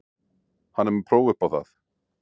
Hann er með próf upp á það.